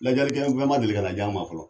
Lajali kɛ fɛn ma deli ka na jan ma fɔlɔ.